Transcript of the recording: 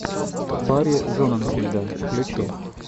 барри зонненфельда включи